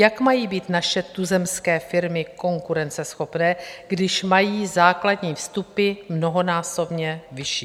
Jak mají být naše tuzemské firmy konkurenceschopné, když mají základní vstupy mnohonásobně vyšší?